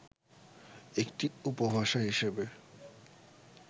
একটি উপভাষা হিসেবে